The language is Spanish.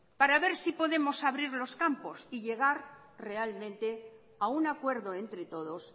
para ver si podemos abrir los campos y llegar realmente a un acuerdo entre todos